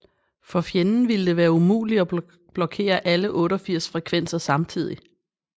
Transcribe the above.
For fjenden ville det være umuligt at blokkere alle 88 frekvenser samtidigt